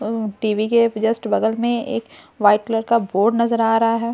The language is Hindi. उम टीवी के जस्ट बगल में एक वाइट कलर का बोर्ड नजर आ रहा हैं।